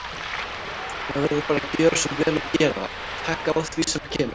Maður verður bara að gjöra svo vel og gera það, taka á því sem kemur.